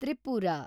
Tripura